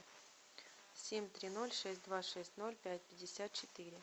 семь три ноль шесть два шесть ноль пять пятьдесят четыре